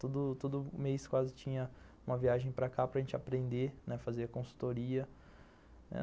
Todo todo mês quase tinha uma viagem para cá para gente aprender a fazer consultoria.